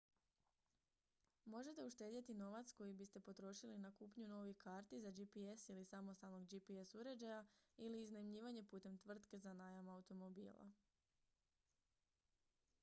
možete uštedjeti novac koji biste potrošili na kupnju novih karti za gps ili samostalnog gps uređaja ili iznajmljivanje putem tvrtke za najam automobila